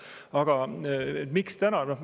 Aga miks täna?